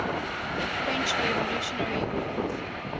french revolutionary wars